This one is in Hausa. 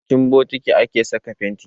A cikin bokiti ake saka fenti